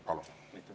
Palun!